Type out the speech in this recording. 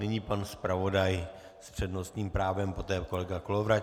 Nyní pan zpravodaj s přednostním právem, poté kolega Kolovratník.